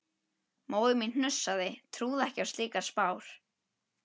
Móðir mín hnussaði, trúði ekki á slíkar spár.